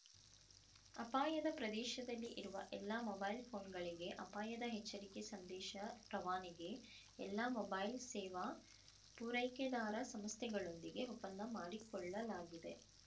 ಅಪಾಯದ ಪ್ರದೇಶದಲ್ಲಿ ಇರುವ ಎಲ್ಲಾ ಮೊಬೈಲ್‌ ಫೋನ್‌ಗಳಿಗೆ ಅಪಾಯದ ಎಚ್ಚರಿಕೆ ಸಂದೇಶ ರವಾನೆಗೆ ಎಲ್ಲಾ ಮೊಬೈಲ್‌ ಸೇವಾ ಪೂರೈಕೆದಾರ ಸಂಸ್ಥೆಗಳೊಂದಿಗೆ ಒಪ್ಪಂದ ಮಾಡಿಕೊಳ್ಳಲಾಗಿದೆ